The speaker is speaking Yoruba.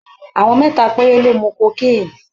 Àwọn mẹ́ta péré ló mu cocaine.